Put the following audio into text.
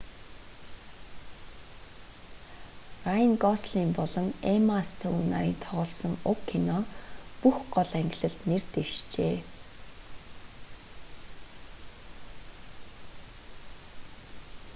райн гослинг болон эмма стоун нарын тоглосон уг кино бүх гол ангилалд нэр дэвшжээ